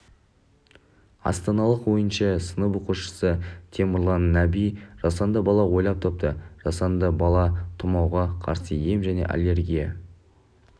астаналық оныншы сынып оқушысытемірлан нәби жасанды бал ойлап тапты жасанды бал тұмауға қарсы ем және аллергия